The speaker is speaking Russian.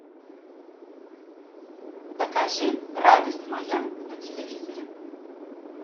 покажи радость моя на телевизоре